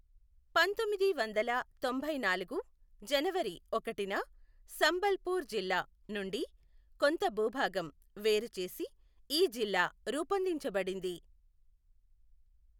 పంతొమ్మిది వందల తొంభైనాలుగు జనవరి ఒకటిన సంబల్ పూర్ జిల్లా నుండి కొంత భూభాగం వేరుచేసి ఈ జిల్లా రూపొందించబడింది.